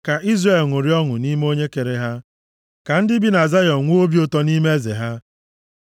Ka Izrel ṅụrịa ọṅụ nʼime onye kere ha; ka ndị bi na Zayọn nwee obi ụtọ nʼime Eze + 149:2 \+xt Nkp 8:23; Zek 9:9; Mat 21:5\+xt* ha.